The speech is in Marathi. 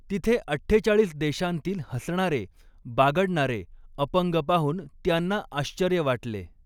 तिथे अठ्ठेचाळीस देशांतील हसणारे, बागडणारे अपंग पाहून त्यांना आश्चर्य वाटले.